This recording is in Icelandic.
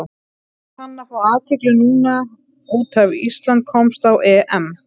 Er hann að fá athygli núna út af Ísland komst á EM?